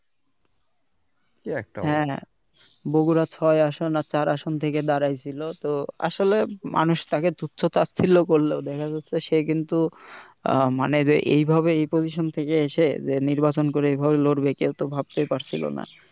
হ্যাঁ হ্যাঁ বগুড়া ছয় আসন আর চার আসন থেকে দাঁড়াই ছিলো তো আসলে মানুষ তাকে তুচ্ছ তাচ্ছিল্য করলো দেখা যাচ্ছে সে কিন্তু মানে এই ভাবে position থেকে এসে নির্বাচন করে এভাবে লড়বে সে কিন্তু এভাবে ভাবতেই পারছিল না